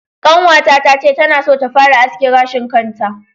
Ƙanwata ta ce tana son ta fara aske gashin kanta.